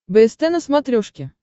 бст на смотрешке